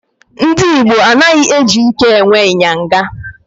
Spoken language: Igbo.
Ndị Igbo anaghị eji ike e nwe ịnyịnya.